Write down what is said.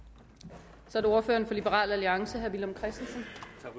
så er det ordføreren for liberal alliance herre villum christensen